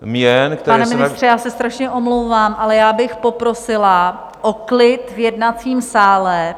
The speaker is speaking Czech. Pane ministře, já se strašně omlouvám, ale já bych poprosila o klid v jednacím sále.